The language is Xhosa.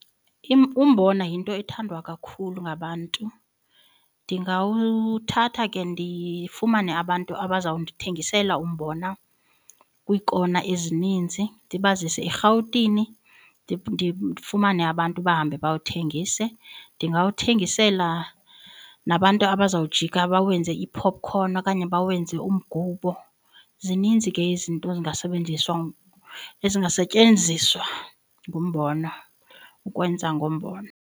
Umbona yinto ethandwa kakhulu ngabantu ndingawuthatha ke ndifumane abantu abazawundithengisela umbona kwiikona ezininzi ndibazise erhawutini ndifumane abantu bahambe bawuthengise. Ndingawuthengisela nabantu abazawujika bawenze iipopkhoni okanye bawenze umgubo, zininzi ke izinto ezingasetyenziswa ngumbona ukwenza ngombona.